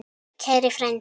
Kæri frændi.